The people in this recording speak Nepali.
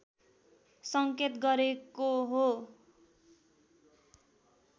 सङ्केत गरेको हो